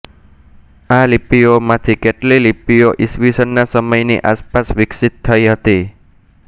આ લિપિઓમાંથી કેટલીય લિપિઓ ઈસવીસનના સમયની આસપાસ વિકસિત થઈ હતી